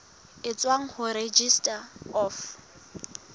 e tswang ho registrar of